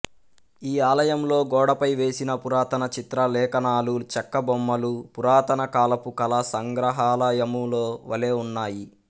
ఈ ఆలయంలో గోడపై వేసిన పురాతన చిత్ర లేఖనాలు చెక్క బొమ్మలు పురాతన కాలపు కళ సంగ్రహాలయములో వలె ఉన్నాయి